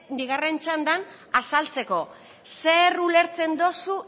bigarren txandan azaltzeko zer ulertzen dozu